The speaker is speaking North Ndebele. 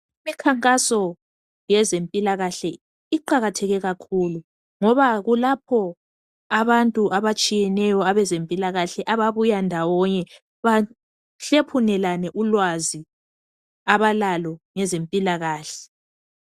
Imikhankaso yezempilakahle iqakatheke kakhulu ngoba kulapho abantu abatshiyeneyo abezempilakahle ababuya ndawonye bahlephunelane ulwazi abalalo ngezempilakahle.